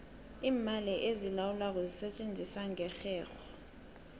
iimali ezilawulwako zisetjenziswa ngerherho